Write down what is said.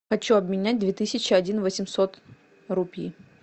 хочу обменять две тысячи один восемьсот рупий